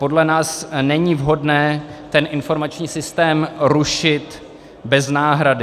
Podle nás není vhodné ten informační systém rušit bez náhrady.